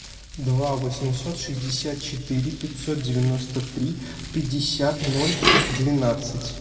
два восемьсот шестьдесят четыре пятьсот девяносто три пятьдесят ноль двенадцать